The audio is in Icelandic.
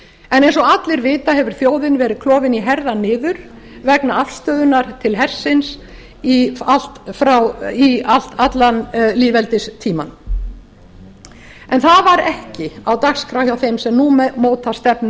en eins og allir vita hefur þjóðin verið klofin í herðar niður vegna afstöðunnar til hersins allan lýðveldistímann en það var ekki á dagskrá hjá þeim sem nú móta stefnu